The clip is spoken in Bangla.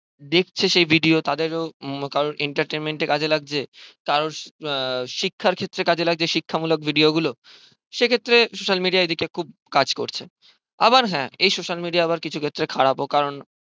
দেখছে সেই video তাদের ও কারোর entertainmaint এ কাজে লাগছে কারোর শিক্ষার ক্ষেত্রে কাজে লাগছে শিক্ষামূলক video গুলো সে ক্ষেত্রে social media এদিকে খুব কাজ করছে আবার হ্যাঁ এই social media আবার কিছু ক্ষেত্রে খারাপ ও কারণ